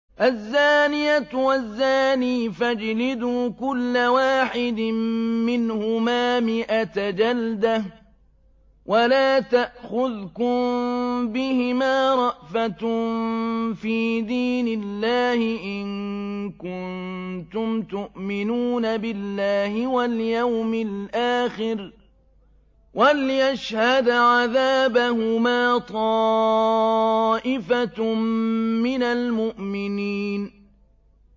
الزَّانِيَةُ وَالزَّانِي فَاجْلِدُوا كُلَّ وَاحِدٍ مِّنْهُمَا مِائَةَ جَلْدَةٍ ۖ وَلَا تَأْخُذْكُم بِهِمَا رَأْفَةٌ فِي دِينِ اللَّهِ إِن كُنتُمْ تُؤْمِنُونَ بِاللَّهِ وَالْيَوْمِ الْآخِرِ ۖ وَلْيَشْهَدْ عَذَابَهُمَا طَائِفَةٌ مِّنَ الْمُؤْمِنِينَ